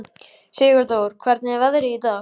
Sigurdór, hvernig er veðrið í dag?